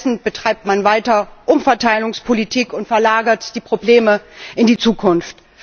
Stattdessen betreibt man weiter Umverteilungspolitik und verlagert die Probleme in die Zukunft.